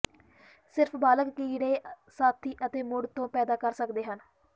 ਸਿਰਫ ਬਾਲਗ ਕੀੜੇ ਸਾਥੀ ਅਤੇ ਮੁੜ ਤੋਂ ਪੈਦਾ ਕਰ ਸਕਦੇ ਹਨ